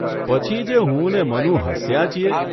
પછી જો હું ને મનુ હસ્યા છીએ !